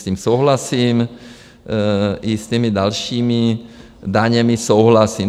S tím souhlasím, i s těmi dalšími daněmi souhlasím.